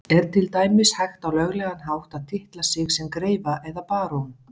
Er til dæmis hægt á löglegan hátt að titla sig sem greifa eða barón?